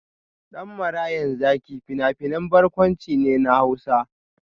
Dan Marayan Zaki fina-finan barkwanci ne na Hausa.